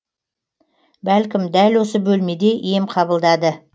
бәлкім дәл осы бөлмеде ем қабылдады